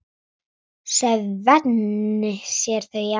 Svenni sér þau í anda.